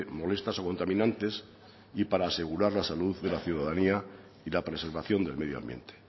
molestas o contaminantes y para asegurar la salud de la ciudadanía y la preservación del medio ambiente